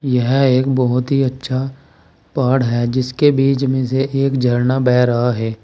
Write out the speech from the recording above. यह एक बहुत ही अच्छा पहाड़ है जिसके बीच में से एक झरना बह रहा है।